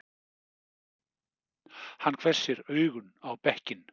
Hann hvessir augun á bekkinn.